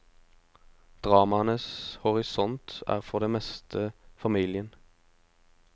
Dramaenes horisont er for det meste familien.